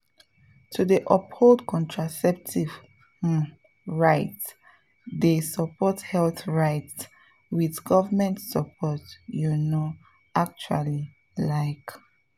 to dey uphold contraceptive um rights dey support health rights with government support you know actually like.